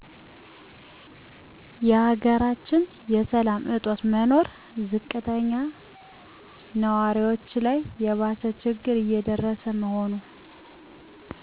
የሀገራችን የሰላም እጦት መኖር ዝቅተኛ ንዋሪዎች ላይ የባሰ ችግር እየደረሰ መሆኑ